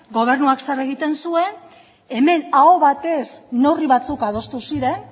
gobernuak zer egiten zuen hemen aho batez neurri batzuk adostu ziren